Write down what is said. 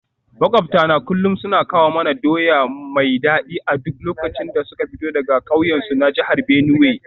Makwabtana kullum suna kawo mana doya mai dadi a duk lokacin da suka fito daga kauyensu na jihar Benue.